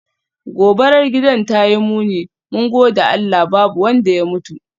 Gobarar gidan tayi muni, mun gode Allah babu wanda ya mutu.